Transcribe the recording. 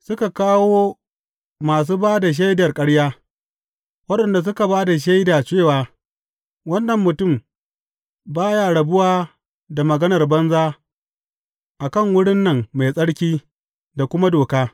Suka kawo masu ba da shaidar ƙarya, waɗanda suka ba da shaida cewa, Wannan mutum ba ya rabuwa da maganar banza a kan wurin nan mai tsarki da kuma doka.